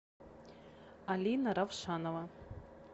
алина равшанова